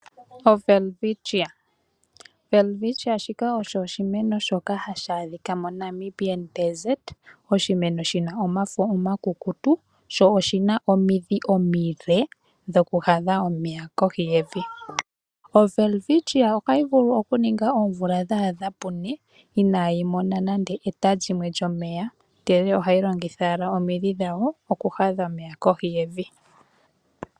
Owelwitchia, welwitchia shika osho oshimeno shimwe hashi adhika moNamibi Desert. Oshimeno shi na omafo omakukutu sho oshina omidhi omile dhokuhadha omeya kohi yevi. Owelwitchia ohayi vulu okuninga oomvula dha adha pune inaayi mona nande eta lyimwe lyomeya, ndele ohayi longitha owala omidhi dhawo okuhadha omeya kohi yevi.